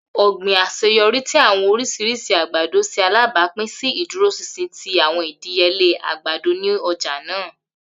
Ogbin aṣeyọri ti awọn oriṣiriṣi agbado ṣe alabapin si iduroṣinṣin ti awọn idiyele agbado ni ọja naa.